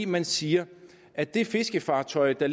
man siger at det fiskefartøj der